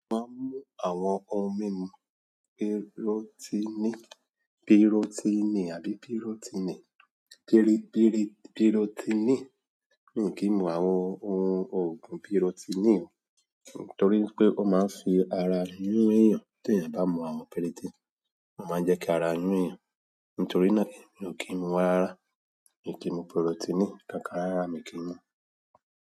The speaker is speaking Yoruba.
Má mú àwọn ohun mímu pírótínì, pírótínì àbí pírótínì. Píri-píri-pírótínì. Mi ò kí n mu àwọn ohun ògùn pírótínì o, torí wipé ó máa ń fi ara yún eyán. Tí èèyàn bá mu àwọn piritin, ó máa ń jẹ́ kí ara yún eyán. Nítorí náà, mi ò kí n mu rárárá. Mi ò kí n mu pírótínì. Kankan, rárárá mi ò kí n mu.